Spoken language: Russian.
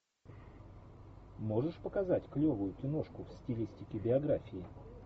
можешь показать клевую киношку в стилистике биографии